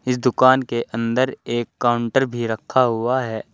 इस दुकान के अंदर एक काउंटर भी रखा हुआ है।